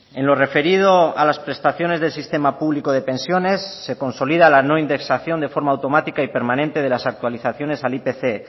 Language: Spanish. en lo referido a las prestaciones del sistema público de pensiones se consolida la no indexación de forma automática y permanente de las actualizaciones al ipc